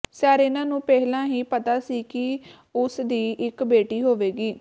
Serena ਨੂੰ ਪਹਿਲਾਂ ਹੀ ਪਤਾ ਸੀ ਕਿ ਉਸ ਦੀ ਇਕ ਬੇਟੀ ਹੋਵੇਗੀ